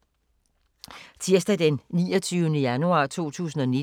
Tirsdag d. 29. januar 2019